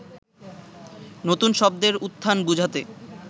নতুন শব্দের উত্থান বুঝতে